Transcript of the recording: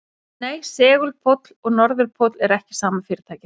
Nei, segulpóll og norðurpóll eru ekki sama fyrirbærið.